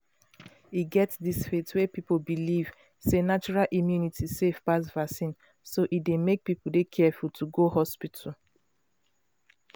e get dis faith wey people believe sey natural immunity safe pass vaccine so e dey make people dey careful to go hospital.